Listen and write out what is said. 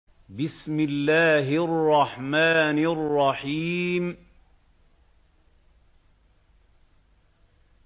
بِسْمِ اللَّهِ الرَّحْمَٰنِ الرَّحِيمِ